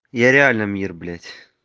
я реально мир блять